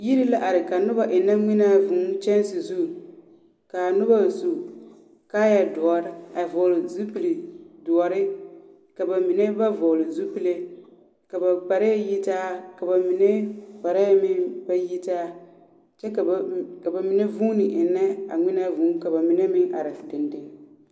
Yir la are ka noba ennɛ ŋmenaa vŭŭ kyɛnse zu. K'a noba su kaayɛdoɔr a vɔɔle zupildoɔre, ka ba mine ba vɔɔle zupille. Ka ba kparɛɛ yitaa ka ba mine kparɛɛ meŋ ba yitaa. Kyɛ ka ba m... ka ba mine vuuni ennɛ a ŋmenaa vŭŭ ka ba mine meŋ are dendeŋe.